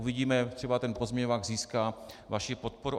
Uvidíme, třeba ten pozměňovák získá vaši podporu.